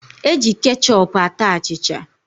E ji kechọpu ata achịcha